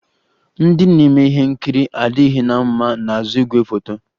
Ndị na-eme ihe nkiri adịghị na mma n'azụ igwefoto